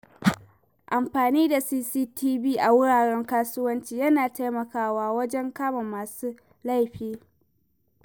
Amfani da CCTV a wuraren kasuwanci yana taimakawa wajen kama masu laifi.